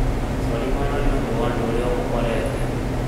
cori mũno nĩũndũ wa ũndũ ũrĩa ũmũkorete